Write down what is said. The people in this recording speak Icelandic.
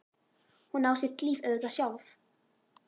Hún á sitt líf auðvitað sjálf.